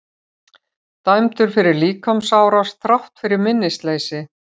Dæmdur fyrir líkamsárás þrátt fyrir minnisleysi